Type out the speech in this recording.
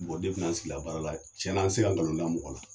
ne kun ye si la baara la, cɛn na, n tɛ se ka galon da mɔgɔ la